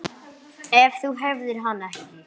Ef þú hefðir hann ekki.